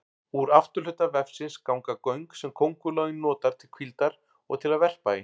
Úr afturhluta vefsins ganga göng sem köngulóin notar til hvíldar og til að verpa í.